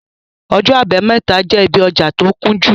Ọjọ àbámẹ́ta jẹ́ ibí ọjà tí ó kúnjú